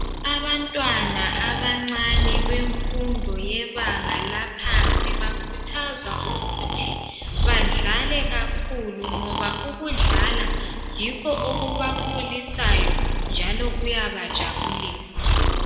Abantwana abancane, bemfundo yebanga laphansi. Bakhuthazwa ukuthi badlale kakhulu, ngoba ukudlala yikho okubakhulisayo, njalo kuyabajabulisa.